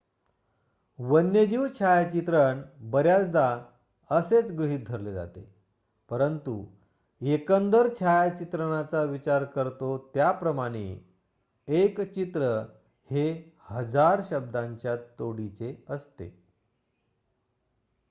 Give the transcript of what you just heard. वन्यजीव छायाचित्रण बऱ्याचदा असेच गृहीत धरले जाते परंतु एकंदर छायाचित्रणाचा विचार करतो त्याप्रमाणे एक चित्र हे हजार शब्दांच्या तोडीचे असते